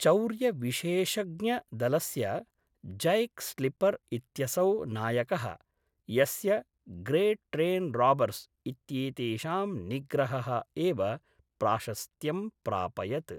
चौर्यविशेषज्ञदलस्य Jack Slipper इत्यसौ नायकः, यस्य ग्रेट् ट्रेन् राबर्स् इत्येतेषां निग्रहः एव प्राशस्त्यं प्रापयत्।